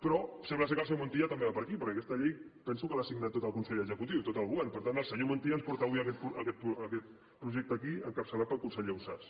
però sembla que el senyor montilla també va per aquí perquè aquesta llei penso que l’ha signat tot el consell executiu tot el govern per tant el senyor montilla ens porta avui aquest projecte aquí encapçalat pel conseller ausàs